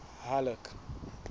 halleck